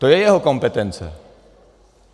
To je jeho kompetence.